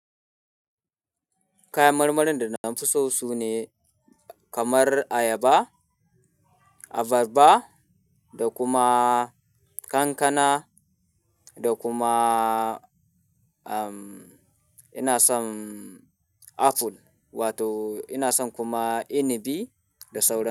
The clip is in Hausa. Kayan marmarin da na fi so sune kamar ayaba, abarba da kuma kankana da kuma, um, ina son apple wato ina son kuma inibi da sauran.